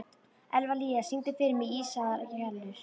Evlalía, syngdu fyrir mig „Ísaðar Gellur“.